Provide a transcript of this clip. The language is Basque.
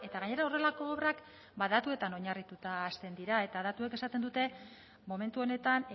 gainera horrelako obrak ba datuetan oinarrituta hasten dira eta datuek esaten dute momentu honetan